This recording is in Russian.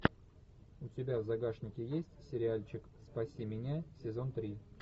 у тебя в загашнике есть сериальчик спаси меня сезон три